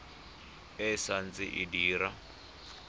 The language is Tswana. e sa ntse e dira